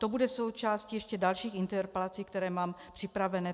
To bude součástí ještě dalších interpelací, které mám připravené.